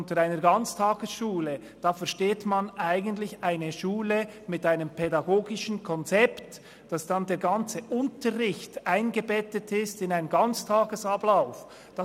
Unter einer Ganztagesschule versteht man eigentlich eine Schule mit einem pädagogischen Konzept, in welchem der ganze Unterricht in einen Ganztagesablauf eingebettet ist.